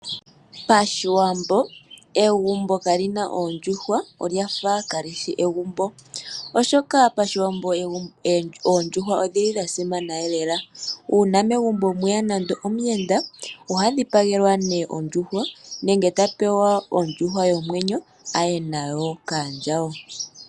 Pashiwambo egumbo kaalina ooondjuhwa olyafa kaalishi egumbo, oshoka pashiwambo oondjuhwa odhili dha simana lela. Uuna megumbo mweya nande omuyenda oha dhipagelwa nee ondjuhwa, nenge ta pewa ondjuhwa yomwenyo aye nayo kaandjawo.